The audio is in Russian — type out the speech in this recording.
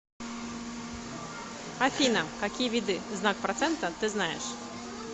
афина какие виды знак процента ты знаешь